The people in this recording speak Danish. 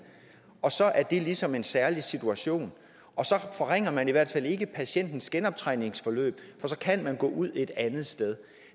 og så er det ligesom en særlig situation og så forringer man i hvert fald ikke patientens genoptræningsforløb for så kan man gå ud et andet sted